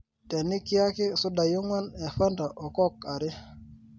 tenikiaki sudai onguan e fanta o coke aare